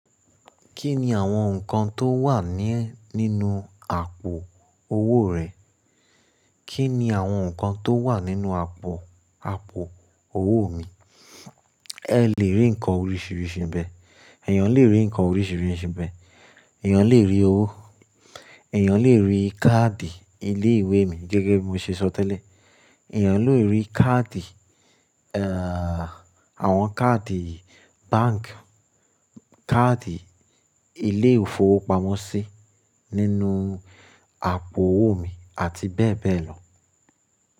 Kí ni àwọn nǹkan tó wà ní nínú àpò owó rẹ̀? Kí ni àwọn nǹkan tó wà nínú àpò, àpò owó mi? Ẹ lè rí nǹkan oríṣìíríṣìí n bẹ̀. Ẹ̀yàn lè rí nǹkan oríṣìíríṣìí n bẹ̀. Ẹ̀yàn lè rí owó, ẹ̀yàn lè rí káàdì ilé ìwé mi gẹ́gẹ́ bí mo ṣe sọ tẹ́lẹ̀. Ẹ̀yàn lè rí káàdì, ẹ́à, àwọn káàdì báǹkì, káàdì ilé ìfowópamọ́sí nínú àpò owó mi àti bẹ́ẹ̀ bẹ́ẹ̀ lọ.